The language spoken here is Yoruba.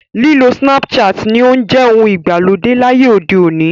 Lílo Snapchat ni ó ń jẹ ohun ìgbàlódé láyé òde òní.